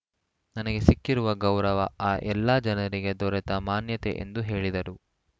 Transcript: ನನಗೆ ಸಿಕ್ಕಿರುವ ಗೌರವ ಆ ಎಲ್ಲ ಜನರಿಗೆ ದೊರೆತ ಮಾನ್ಯತೆ ಎಂದು ಹೇಳಿದರು